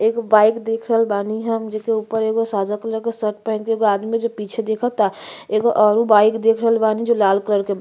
एगो बाइक देख रहल बानी हम जेके ऊपर एगो सादा कलर के शर्ट पहिन के एगो आदमी पीछे देखता। एगो औरु बाइक देख रहल बानी जो लाल कलर के बा।